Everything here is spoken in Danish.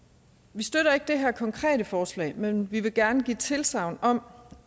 vi støtter ikke det her konkrete forslag men vi vil gerne give tilsagn om